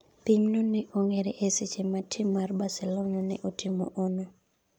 pim go ne ong'ere eseche ma tim mar Barcelona ne otimo ono